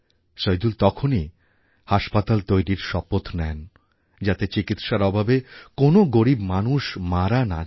সইদুল তখনই হাসপাতাল তৈরি শপথ নেন যাতে চিকিৎসার অভাবে কোনও গরীব মানুষ মারা না যান